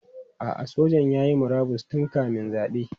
A'a, sojan ya yi murabus tun kamin zabe.